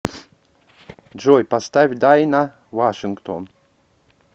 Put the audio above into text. джой поставь дайна вашингтон